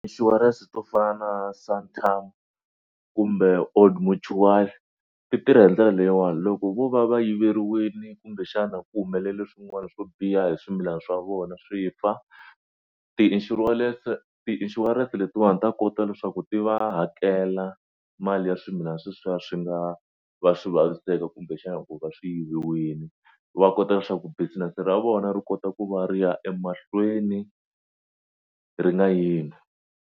Inshurense to fana na Santam kumbe Old Mutual ti tirha hi ndlela leyiwani loko vo va va yiveriwile kumbexana ku humelela swin'wana swo biha hi swimilana swa vona swi fa tiishurense letiwani ta kota leswaku ti va hakela mali ya swimilana sweswiya swi nga va swi vaviseka kumbexana ku va swi yiviwile va kota leswaku business ra vona ri kota ku va ri ya emahlweni ri nga yimi.